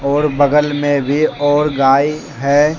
और बगल में वे और गाय है।